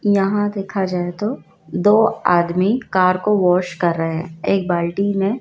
यहां देखा जाए तो दो आदमी कार को वाश कर रहे हैं एक बाल्टी में--